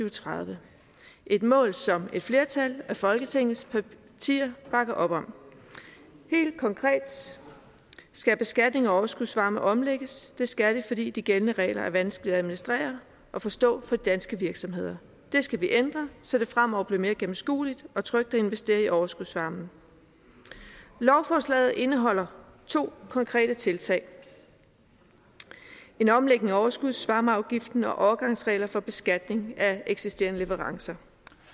og tredive et mål som et flertal af folketingets partier bakker op om helt konkret skal beskatning af overskudsvarme omlægges det skal det fordi de gældende regler er vanskelige at administrere og forstå for danske virksomheder det skal vi ændre så det fremover bliver mere gennemskueligt og trygt at investere i overskudsvarmen lovforslaget indeholder to konkrete tiltag en omlægning af overskudsvarmeafgiften og overgangsregler for beskatning af eksisterende leverancer